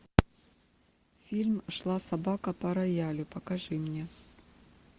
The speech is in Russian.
фильм шла собака по роялю покажи мне